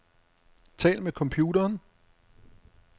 Tal med computeren.